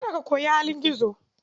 Kada ka koyi halin gizo.